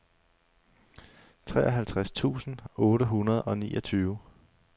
treoghalvtreds tusind otte hundrede og niogtyve